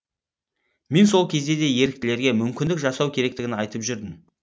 мен сол кезде де еріктілерге мүмкіндік жасау керектігін айтып жүрдім